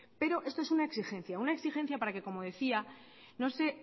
pero esto es una exigencia una exigencia para que como decía no se